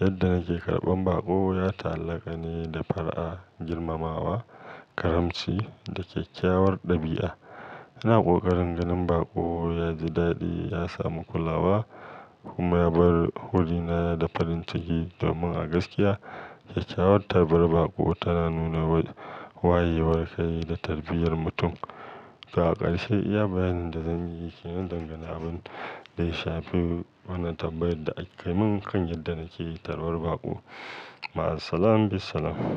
yadda nake karɓan baƙo ya ta'allaka ne da fara'a, girmamawa, karamci da kyakkyawar ɗabi'a. Ina ƙoƙarin ganin baƙo ya ji daɗi, ya samu kulawa kuma ya bar wurina da farin ciki. Domin a gaskiya, kyakkyawar tarbar baƙo tana nuna wayewar kai da tarbiyyar mutum. Ga ƙarshe, iya bayanin da zan yi ke nan da gani abin da ya shafi wannan tambayar da aka yi min kan yadda nake tarbar baƙo. Ma'asalama bisalam.